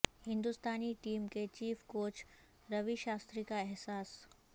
ہندوستانی ٹیم کے chief coach Ravi Shastri کا احساس